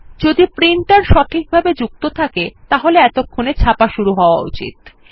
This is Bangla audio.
যদি প্রিন্টার সঠিকভাবে যুক্ত থাকে তাহলে এতক্ষণে ছাপা শুরু হওয়া উচিত